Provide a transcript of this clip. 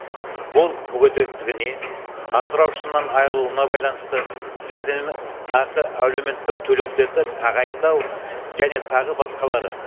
бұл мүгедектігіне асыраушысынан айрылуына байланысты жәрдемақы әлеуметтік төлемдерді тағайындау және тағы басқалары